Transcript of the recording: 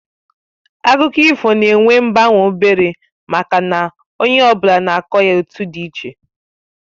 Akụkọ ifo na-enwe mgbanwe obere maka na onye ọ bụla na-akọ ya etu dị iche